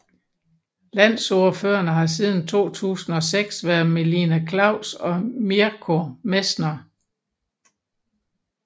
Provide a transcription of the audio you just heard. Landsordførerne har siden 2006 været Melina Klaus og Mirko Messner